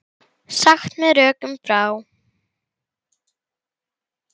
Sagt með rökum frá.